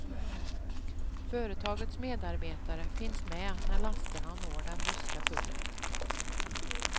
Företagets medarbetare finns med när lasterna når den ryska tullen.